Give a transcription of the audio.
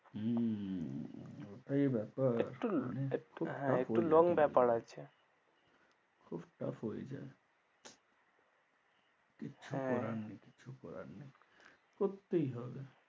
হম ওটাই ব্যপার একটু একটু হ্যাঁ একটু long ব্যপার আছে খুব tought হয়ে যায়, কিছু করার নেই কিছু করার নেই, করতেই হবে।